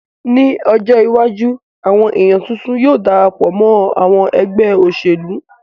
Ní ọjọ́ iwájú àwọn èèyàn tuntun yóò Darapọ̀ mọ́ àwọn ẹgbẹ́ òṣèlú